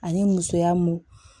Ani musoya mun